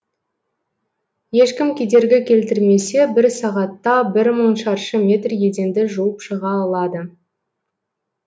ешкім кедергі келтірмесе бір сағатта бір мың шаршы метр еденді жуып шыға алады